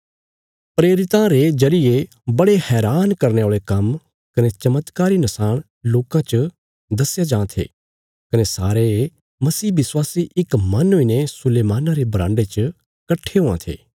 प्रेरितां रे जरिये बड़े हैरान करने औल़े काम्म कने चमत्कारी नशाण लोकां च दस्या जां थे कने सारे मसीह विश्वासी इक मन हुईने सुलैमाना रे बराण्डे च कट्ठे हुआं थे